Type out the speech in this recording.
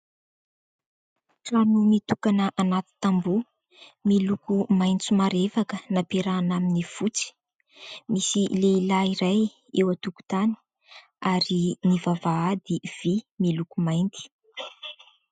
Trano mitokana anaty tamboho, miloko maitso marevaka nampiarahana amin'ny fotsy. Misy lehilahy iray eo an-tokotany ary ny vavahady vy, miloko mainty.